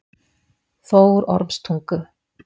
Þórormstungu